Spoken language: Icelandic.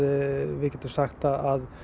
við getum sagt að